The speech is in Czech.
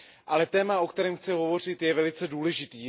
Ale téma, o kterém chci hovořit, je velice důležité.